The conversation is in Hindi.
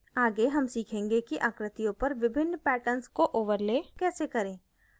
आगे हम सीखेंगे कि आकृतियों पर विभिन्न patterns को overlay कैसे करें